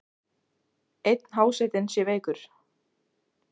Einn hásetinn sé veikur.